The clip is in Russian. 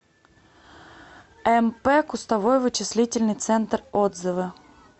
мп кустовой вычислительный центр отзывы